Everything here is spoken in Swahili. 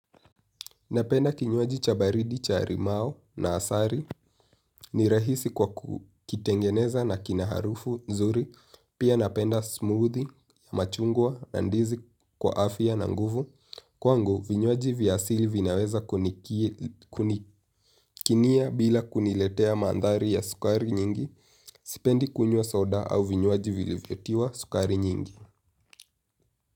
Napenda kinywaji cha baridi cha rimao na asari, ni rahisi kwa kukitengeneza na kina harufu nzuri, pia napenda smoothie, machungwa na ndizi kwa afya na nguvu. Kwangu, vinywaji vya asili vinaweza kunikinia bila kuniletea mandhari ya sukari nyingi, sipendi kunywa soda au vinywaji vilivyotiwa sukari nyingi.